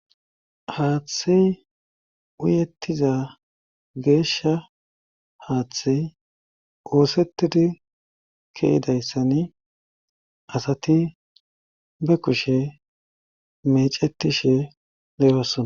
Haaththey uyettiza geesha haaththey woosetidi keedayssan asati be kushe mecetishe le7osona